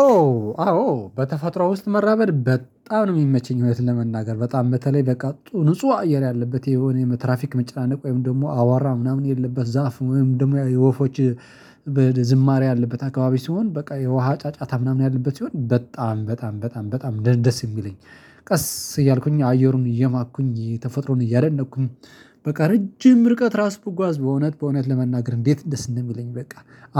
ኦ አዎ በተፈጥሮ ውስጥ መራበድ በጣም ነው የሚመቸኝ። ህይወት ለመናገር በጣም በተለይ በቃ ንጹህ አየር ያለበት የሆነ የትራፊክ መጨናነቅ ወይም ደግሞ አዋራ ምናምን የለበት ዛፍ ወይም ደግሞ የወፎች ዝማሬ ያለበት አካባቢ ሲሆን በቃ የውሃ ጫጫታ ምናምን ያለበት ሲሆን በጣም በጣም በጣም በጣም ደስ የሚለኝ። ቀስ እያልኩኝ አየሩን እየማኩኝ ተፈጥሮን እያደነቅኩኝ በቃ ረጅም ርቀት ራስ ብጓዝ በእውነት በእውነት ለመናገር እንዴት እንደስ እንደሚለኝ በቃ